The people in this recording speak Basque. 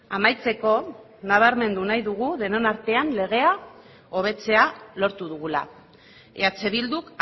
amaitzeko nabarmen nahi dugu denon artean legea hobetzea lortu dugula eh bilduk